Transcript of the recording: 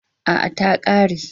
A'a, ta ƙare.